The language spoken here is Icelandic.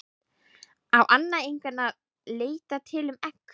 Á Anna einhvern að leita til um egg?